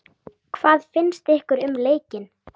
Hvað finnst ykkur um leikinn?